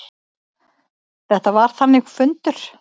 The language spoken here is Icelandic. Þetta var þannig fundur.